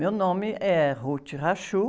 Meu nome é.